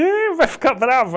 Ih, vai ficar brava!